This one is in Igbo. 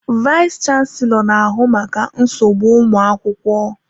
Vayis chansilọ na ahụ maka nsogbu ụmụ akwụkwọ.